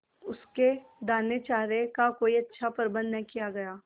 उसके दानेचारे का कोई अच्छा प्रबंध न किया गया